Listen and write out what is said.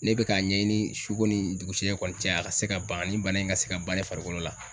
Ne be k'a ɲɛɲini su ko ni dugusajɛ kɔni cɛ a ka se ka ban ni bana in ka se ka ban ne farikolo la